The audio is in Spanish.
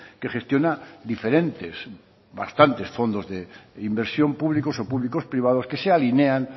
que gestiona diferentes bastantes fondos de inversión públicos o públicos privados que se alinean